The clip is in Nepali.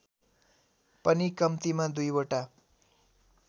पनि कम्तिमा २ वटा